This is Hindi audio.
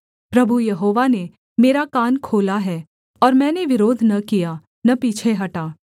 प्रभु यहोवा ने मेरा कान खोला है और मैंने विरोध न किया न पीछे हटा